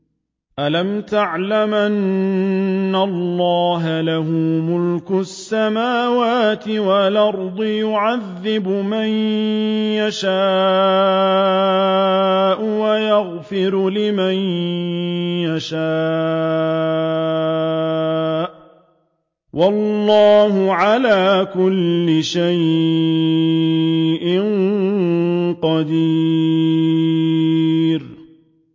أَلَمْ تَعْلَمْ أَنَّ اللَّهَ لَهُ مُلْكُ السَّمَاوَاتِ وَالْأَرْضِ يُعَذِّبُ مَن يَشَاءُ وَيَغْفِرُ لِمَن يَشَاءُ ۗ وَاللَّهُ عَلَىٰ كُلِّ شَيْءٍ قَدِيرٌ